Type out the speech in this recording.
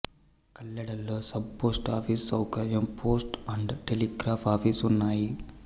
కల్లెడలో sub post office సౌకర్యం post and telegraph office ఉన్నాయి